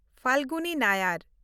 Falguni Nayar